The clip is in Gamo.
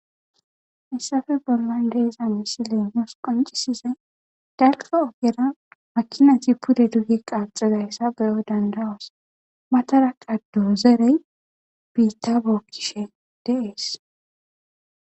issafe bollan deeza misilenhoos qoncisizey dalka ogera makinati pude duge qaaxedayssa beyoy dandawas matara qaddo zerey biitta bokishe deees